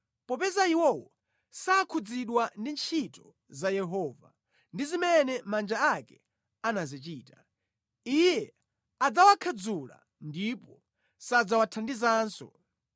Popeza iwowo sakhudzidwa ndi ntchito za Yehova, ndi zimene manja ake anazichita, Iye adzawakhadzula ndipo sadzawathandizanso.